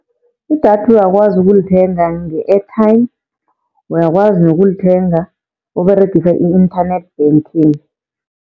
Idatha uyakwazi ukulithenga nge-airtime, uyakwazi nokulithenga Uberegisa i-internet banking.